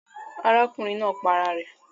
Arákùnrin naa pa ara rè